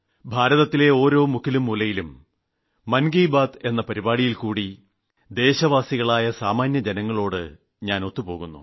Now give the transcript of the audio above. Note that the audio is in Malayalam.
ഭാരതത്തിലെ ഓരോ മുക്കിലുംമൂലയിലും മൻ കി ബാത് എന്ന പരിപാടിയിൽക്കൂടി ദേശവാസികളായ സാമാന്യജനങ്ങളുമായി ബന്ധപ്പെടാൻ എനിക്ക് കഴിയുന്നു